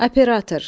Operator.